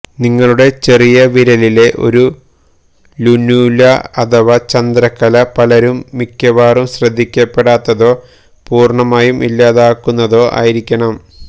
നിങ്ങളുടെ ചെറിയ വിരലിലെ ഒരു ലുനുല അഥവാ ചന്ദ്രക്കല പലരും മിക്കവാറും ശ്രദ്ധിക്കപ്പെടാത്തതോ പൂര്ണ്ണമായും ഇല്ലാതാകുന്നതോ ആയിരിക്കണം